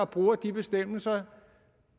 bruger de bestemmelser